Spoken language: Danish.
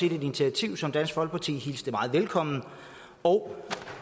et initiativ som dansk folkeparti hilste meget velkomment og